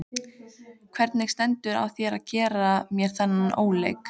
Hvernig stendur á þér að gera mér þennan óleik?